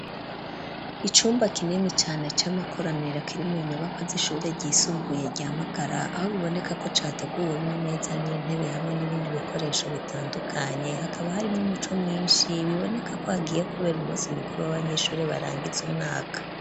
Icumba kinini cane c'amakoraniro kiri mu nyubakwa z'ishure ryisumbuye rya Magara, aho biboneka ko categuwe n'imeza n'intebe, hamwe n'ibindi bikoresho bitandukanye, hakaba harimwo umuco mwinshi, biboneka ko hagiye kubera umunsi mukuru w'abanyeshuri barangiza umwaka.